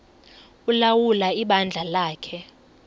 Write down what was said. ulawula ibandla lakhe